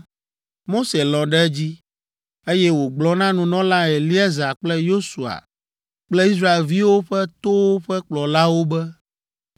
Mose lɔ̃ ɖe edzi, eye wògblɔ na nunɔla Eleazar kple Yosua kple Israelviwo ƒe towo ƒe kplɔlawo be,